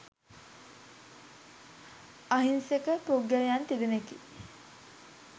අහිංසක පුද්ගලයන් තිදෙනෙකි